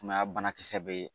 Sumaya banakisɛ bɛ yen